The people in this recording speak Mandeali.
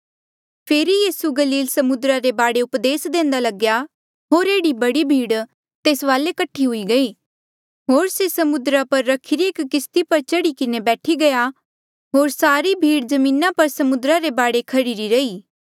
फेरी यीसू गलील समुद्रा रे बाढे उपदेस देंदा लग्या होर एह्ड़ी बडी भीड़ तेस वाले कठी हुई गयी होर से समुद्रा पर रखिरी एक किस्ती पर चढ़ी किन्हें बैठी गया होर सारी भीड़ जमीना पर समुद्रा रे बाढे खह्ड़िरी रही